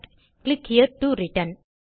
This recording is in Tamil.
click here to return